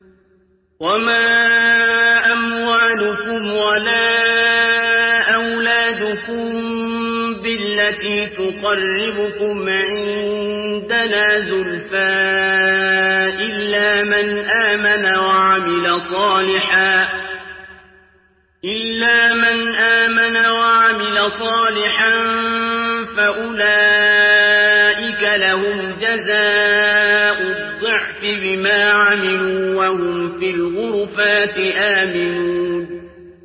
وَمَا أَمْوَالُكُمْ وَلَا أَوْلَادُكُم بِالَّتِي تُقَرِّبُكُمْ عِندَنَا زُلْفَىٰ إِلَّا مَنْ آمَنَ وَعَمِلَ صَالِحًا فَأُولَٰئِكَ لَهُمْ جَزَاءُ الضِّعْفِ بِمَا عَمِلُوا وَهُمْ فِي الْغُرُفَاتِ آمِنُونَ